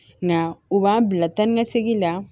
Nka u b'an bila taa ni ka segin la